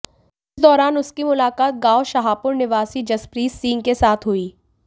इस दौरान उसकी मुलाकात गांव शाहपुर निवासी जसप्रीत सिंह के साथ हुई